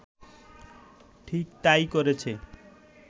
ঠিক তাই করেছে